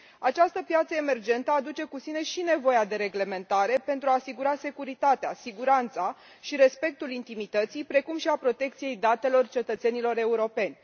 Această piață emergentă aduce cu sine și nevoia de reglementare, pentru a asigura securitatea, siguranța și respectul intimității, precum și protecția datelor cetățenilor europeni.